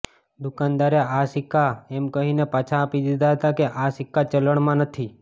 દુકાનદારે આ સિક્કા એમ કહીને પાછા આપી દીધા હતા કે આ સિક્કા ચલણમાં નથી